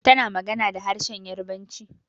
Tana magana da harshenn Yarabanci.